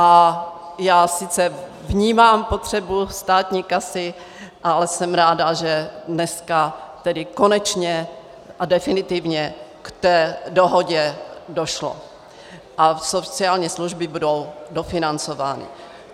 A já sice vnímám potřebu státní kasy, ale jsem ráda, že dneska, tedy konečně a definitivně, k té dohodě došlo a sociální služby budou dofinancovány.